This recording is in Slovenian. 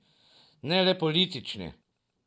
Ne le politični.